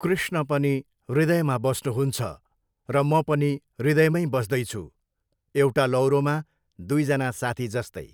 कृष्ण पनि हृदयमा बस्नुहुन्छ, र म पनि हृदयमै बस्दै छु, एउटा लौरोमा दुईजना साथी जस्तै।